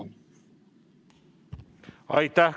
Aitäh!